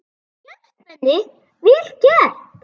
Vel gert, Benni, vel gert.